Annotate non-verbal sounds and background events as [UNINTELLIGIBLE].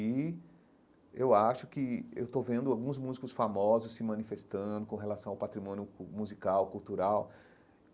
E eu acho que eu estou vendo alguns músicos famosos se manifestando com relação ao patrimônio [UNINTELLIGIBLE] musical, cultural.